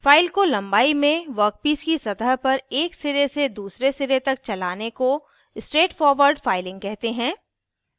file को लम्बाई में वर्कपीस की सतह पर एक सिरे से दूसरे सिरे तक चलाने को स्ट्रेट फॉरवर्ड फाइलिंग कहते हैं